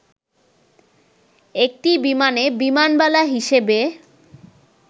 একটি বিমানে বিমানবালা হিসেবে